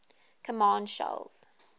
command shells